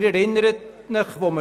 Sie erinnern sich sicher: